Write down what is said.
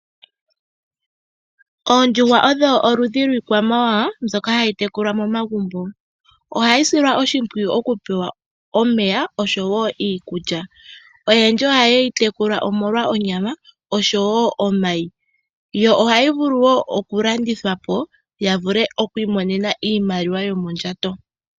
Ondjuhwa odho oludhi lwiikwamawawa mboka hayi tekulwa momagubo. Ohayi silwa oshipwiyu oku pewa omeya nosho woo iikulya. Oyendji oyeyi tekula omolwa onyama osho woo omayi. Ohayi vulu woo okulandithwa po ya vule okwi monena oshimaliwa yomondjato.